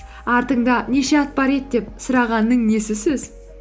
артыңда неше ат бар еді деп сұрағанның несі сөз